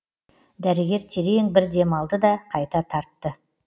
дәрігер терең бір демалды да қайта тартты